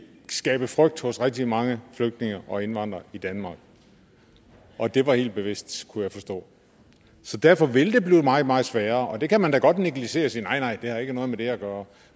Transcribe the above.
skabe frygt hos rigtig mange flygtninge og indvandrere i danmark og det var helt bevidst kunne jeg forstå så derfor vil det blive meget meget sværere det kan man da godt negligere og sige at nej nej det har ikke noget med det at gøre